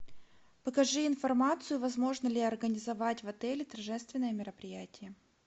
покажи информацию возможно ли организовать в отеле торжественное мероприятие